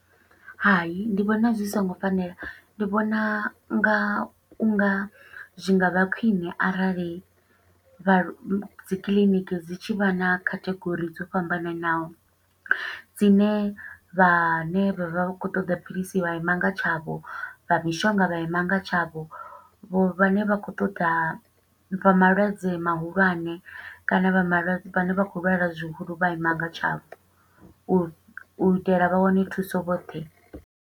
Hai, ndi vhona zwi songo fanela, ndi vhona u nga, u nga zwi nga vha khwiṋe arali, vha lwa, dzi kiḽiniki dzi tshi vha na category dzo fhambananaho. Dzine vhane vha vha vha khou ṱoḓa philisi vha ima nga tshavho, vha mishonga vha ima nga tshavho. Vho vhane vha khou ṱoḓa, vha malwadze mahulwane kana vha malwadze, vhane vha khou lwala zwihulu vha ima nga tshavho. U itela vha wane thuso vhoṱhe.